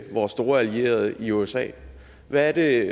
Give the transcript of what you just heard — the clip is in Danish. vores store allierede i usa hvad er det